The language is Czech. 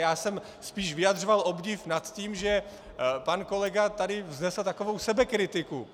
Já jsem spíš vyjadřoval obdiv nad tím, že pan kolega tady vznesl takovou sebekritiku.